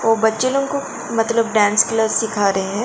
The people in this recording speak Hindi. तो बच्चे लोगों को मतलब डांस क्लास सिखा रहे हैं।